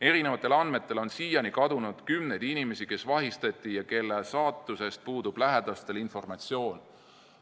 Erinevatel andmetel on siiani kadunud kümneid inimesi, kes vahistati ja kelle saatusest puudub lähedastel informatsioon.